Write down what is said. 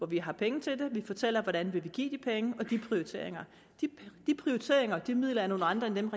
vi har penge til vi fortæller hvordan vi vil give de penge og de prioriteringer de prioriteringer og de midler er nogle andre end dem